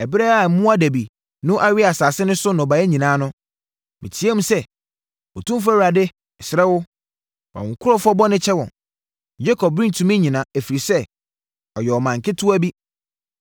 Ɛberɛ a mmoadabi no awe asase no so nnɔbaeɛ nyinaa no, me teaam sɛ, “Otumfoɔ Awurade, mesrɛ wo, fa wo nkurɔfoɔ bɔne kyɛ wɔn! Yakob rentumi nnyina, ɛfiri sɛ, ɔyɛ ɔman ketewa bi.”